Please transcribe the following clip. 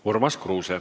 Urmas Kruuse.